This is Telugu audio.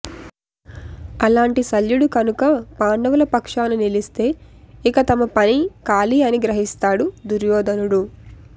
అలాంటి శల్యుడు కనుక పాండవుల పక్షాన నిలిస్తే ఇక తమ పని ఖాళీ అని గ్రహిస్తాడు దుర్యోధనుడు